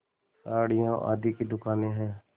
साड़ियों आदि की दुकानें हैं